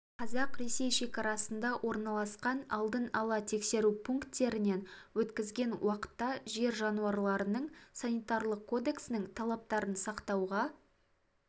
қазақ-ресей шекарасында орналасқан алдын ала тексеру пунктерінен өткізген уақытта жер жануарларының санитарлық кодексінің талаптарын сақтауға